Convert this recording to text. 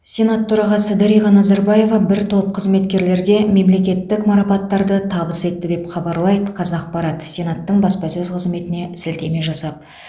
сенат төрағасы дариға назарбаева бір топ қызметкерлерге мемлекеттік марапаттарды табыс етті деп хабарлайды қазақпарат сенаттың баспасөз қызметіне сілтеме жасап